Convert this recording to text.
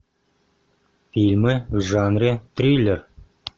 фильмы в жанре триллер